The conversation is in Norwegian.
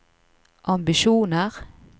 ambisjoner